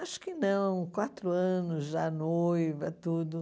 Acho que não, quatro anos já noiva, tudo.